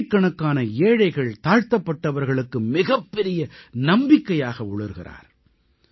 அவர் கோடிக்கணக்கான ஏழைகள் தாழ்த்தப்பட்டவர்களுக்கு மிகப்பெரிய நம்பிக்கையாக ஒளிர்கிறார்